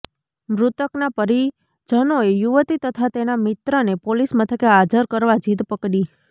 મૃતકના પરિજનોએ યુવતી તથા તેના મિત્રને પોલીસ મથકે હાજર કરવા જીદ પકડી